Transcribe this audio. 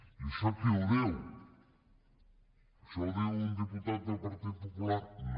i això qui ho diu això ho diu un diputat del partit popular no